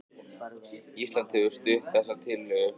Ísland hefur stutt þessa tillögu